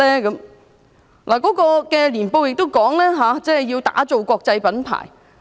港鐵公司的年報亦指出，要打造國際品牌。